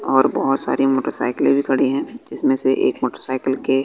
और बहोत सारी मोटरसाइकिले भी खड़ी है इसमें से एक मोटरसाइकिल के--